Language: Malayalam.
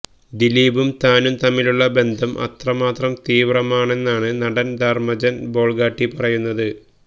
ദിലീപും താനും തമ്മിലുള്ള ബന്ധം അത്രമാത്രം തീവ്രമാണെന്നാണ് നടൻ ധർമജൻ ബോൾഗാട്ടി പറയ